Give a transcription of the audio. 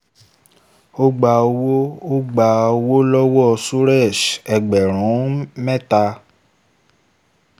ó gba owó gba owó lọ́wọ́ suresh ẹgbẹ̀rún mẹ́ta